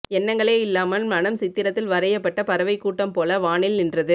எண்ணங்களே இல்லாமல் மனம் சித்திரத்தில் வரையப்பட்ட பறவைக்கூட்டம் போல வானில் நின்றது